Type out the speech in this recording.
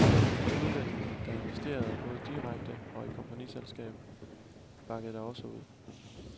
De udlændinge, der investerede, både direkte og i kompagniskab, bakkede da også ud.